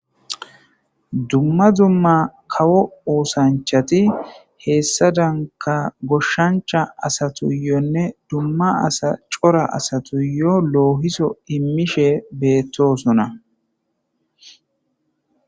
dumma dumma kawo oosanchati heessa danka goshshancha asatuyoonne dumma asa cora asatuyo loohiso immishe beettosona